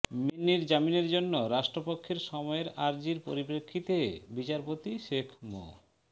মিন্নির জামিনের জন্য রাষ্ট্রপক্ষের সময়ের আরজির পরিপ্রেক্ষিতে বিচারপতি শেখ মো